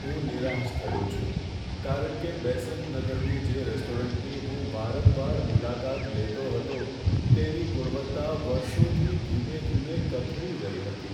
હું નિરાશ થયો છું, કારણ કે બેસંત નગરની જે રેસ્ટોરન્ટની હું વારંવાર મુલાકાત લેતો હતો, તેની ગુણવત્તા વર્ષોથી ધીમે ધીમે કથળી રહી હતી.